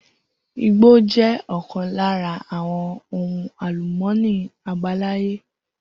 Igbó jẹ ọkan lára àwọn ohun àlùmọ́ọ́nì abalaye